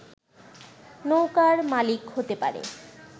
নৌকার মালিক হতে পারে